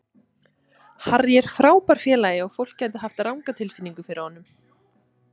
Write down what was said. Harry er frábær félagi og fólk gæti hafa ranga tilfinningu fyrir honum.